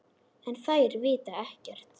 En þær vita ekkert.